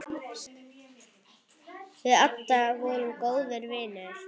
Við Adda vorum góðir vinir.